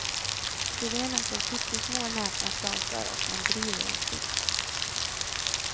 Syrenen får pyttesmå näpna klasar och man driver en kvist.